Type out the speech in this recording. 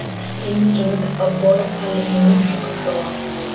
Sprenging á borpalli í Mexíkóflóa